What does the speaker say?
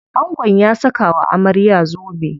Angon ya saka wa amarya zobe.